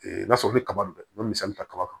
n'a sɔrɔ i bɛ kaba dun i bɛ misali ta kaba kan